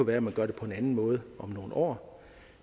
være at man gør det på en anden måde om nogle år